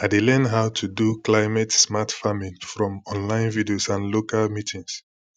i dey learn how to do climatesmart farming from online videos and local meetings